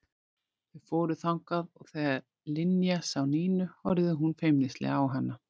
Þau fóru þangað og þegar Linja sá Nínu horfði hún feimnislega á hana.